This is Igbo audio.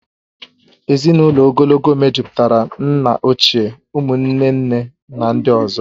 Ezinụlọ ogologo mejupụtara nna ochie, ụmụ nne nne na ndị ọzọ